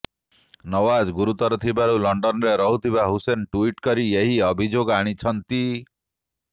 ନୱାଜ ଗୁରୁତର ଥିବାରୁ ଲଣ୍ଡନରେ ରହୁଥିବା ହୁସେନ ଟୁଇଟ କରି ଏହି ଅଭିଯୋଗ ଆଣିଛନ୍ତି